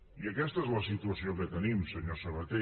i aquesta és la situació que tenim senyor sabaté